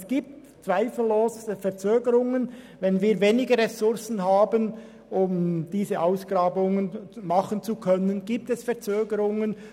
Es wird zweifellos Verzögerungen geben, wenn wir weniger Ressourcen haben, um diese Ausgrabungen durchzuführen.